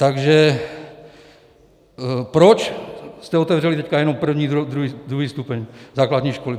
Takže proč jste otevřeli teď jenom první, druhý stupeň základní školy?